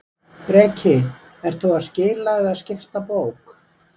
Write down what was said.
Breki: Ert þú að skila eða skipta bók?